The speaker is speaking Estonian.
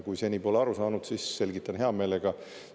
Kui seni pole aru saanud, siis selgitan hea meelega.